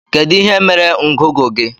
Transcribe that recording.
Kedu ihe mere ngụgụ gị?